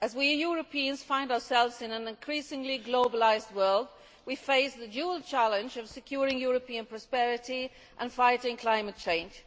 As we Europeans find ourselves in an increasingly globalised world, we face the dual challenge of securing European prosperity and fighting climate change.